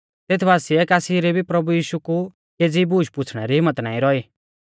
तेथ बासिऐ कासी री भी प्रभु यीशु कु केज़ी बूश पूछ़णे री हिम्मत नाईं रौई